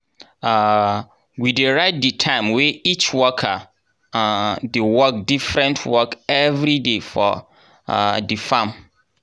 um we dey write di time wey each worker um dey work diffirent work evriday for um di farm.